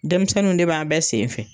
Denmisɛnninw de b'a bɛɛ sen fɛ.